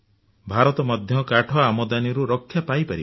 ଭାରତ ମଧ୍ୟ କାଠ ଆମଦାନୀରୁ ରକ୍ଷା ପାଇପାରିବ